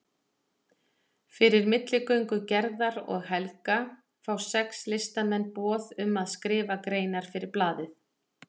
Fyrir milligöngu Gerðar og Helga fá sex listamenn boð um að skrifa greinar fyrir blaðið.